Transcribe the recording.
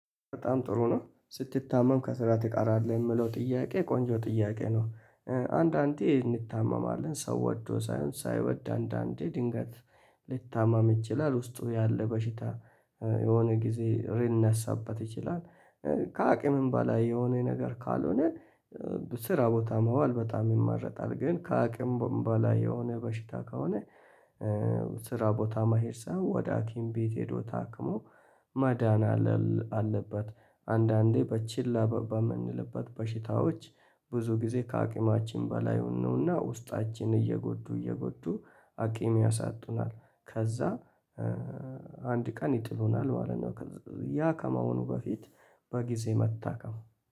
በጣም ጥሩ ነው ስትታመም ከስራ ትቀራለህ የሚለው ጥያቄ ቆንጆ ጥያቄ ነው። አንዳንዴ እንታመማለን ሰው ወዶ ሳይሆን ሳይወድ አንዳንዴ ድንገት ሊታመም ይችላል ውስጡ ያለ በሽታ የሆነ ጊዜ ሊነሳበት ይችላል። ከአቅምም በላይ የሆነ ነገር ካልሆነ ስራ ቦታ መዋል በጣም ይመረጣል። ግን ከአቅም በላይ የሆነ በሽታ ከሆነ። ስራ ቦታ መሄድ ሳይሆን ወደ ሀኪም ቤት ሄዶ ታክሞ መዳን አለበት። አንዳንዴ በችላ በምንልበት በሽታዎች ብዙ ጊዜ ከአቅማችን በላይ ይሆኑና ውስጣችን እየጎዱ እየጎዱ አቅም ያሳጡናል። ከዛ አንድ ቀን ይጥሉናል ማለት ነው። ያ ከመሆኑ በፊት በጊዜ መታከም